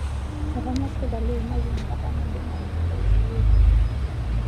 Etanya serkali eimaki enkata naidimayu neboli sukuuli.